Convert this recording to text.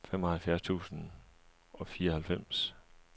femoghalvfjerds tusind og fireoghalvfems